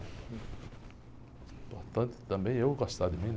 Importante também é eu gostar de mim, né?